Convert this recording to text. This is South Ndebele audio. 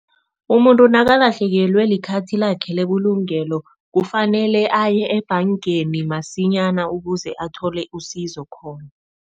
Umuntu nakalahlekelwe likhathi lakhe lebulungelo, kufanele aye ebhangeni masinyana ukuze athole usizo khona.